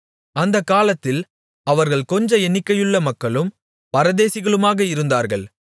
அந்தக் காலத்தில் அவர்கள் கொஞ்ச எண்ணிகையுள்ள மக்களும் பரதேசிகளுமாக இருந்தார்கள்